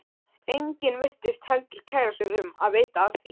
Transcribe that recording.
Enginn virtist heldur kæra sig um að vita af því.